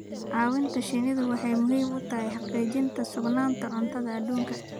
Caawinta shinnidu waxay muhiim u tahay xaqiijinta sugnaanta cuntada adduunka.